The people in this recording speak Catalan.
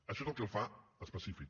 això és el que el fa específic